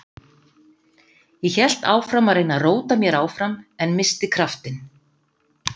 Ég hélt áfram að reyna að róta mér áfram en missti kraftinn.